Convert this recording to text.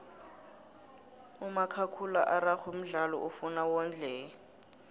umakhakhula araxhwe mdlalo ofuna wondleke